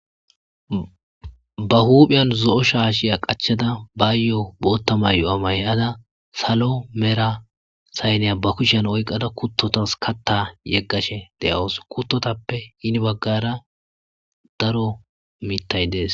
ba huuphiyan zo7o shaashiya qachada bayo bootta mayuwa mayada salo mera sayneya ba kushyan oyqada kuttotas katta yeggashe de7awus kuttotappe hini baggara daro miittay dees